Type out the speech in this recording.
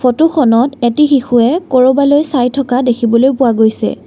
ফটোখনত এটি শিশুৱে কৰিবলৈ চাই থকা দেখিবলৈ পোৱা গৈছে।